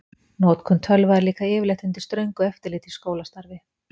Notkun tölva er líka yfirleitt undir ströngu eftirliti í skólastarfi.